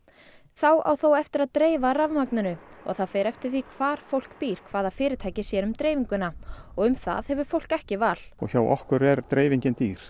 þá á þó eftir að dreifa rafmagninu og það fer eftir því hvar fólk býr hvaða fyrirtæki sér um dreifinguna og um það hefur fólk ekki val hjá okkur er dreifingin dýr